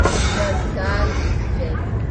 just Dial limited